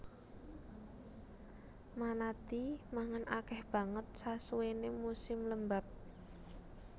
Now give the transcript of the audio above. Manatee mangan akèh banget sasuwéné musim lembab